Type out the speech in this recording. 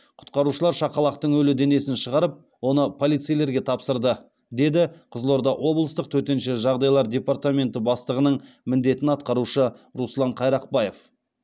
құтқарушылар шақалақтың өлі денесін шығарып оны полицейлерге тапсырды деді қызылорда облыстық төтенше жағдайлар департаменті бастығының міндетін атқарушы руслан қайрақбаев